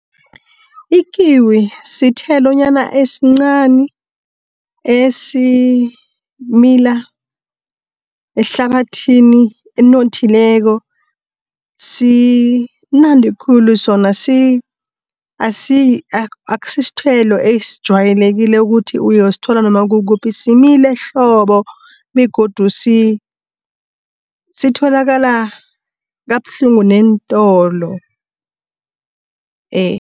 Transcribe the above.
Ikiwi sithelonyana esincani esimila ehlabathini enothileko. Simnandi khulu sona, aksithelo esitjwayekileko ukuthi uyosithola noma kukuphi simile hlobo, begodu sitholakala kabuhlungu neentolo .